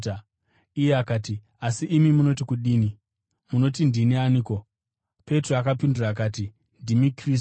Iye akati, “Asi imi munoti kudini? Munoti ndini aniko?” Petro akapindura akati, “Ndimi Kristu.”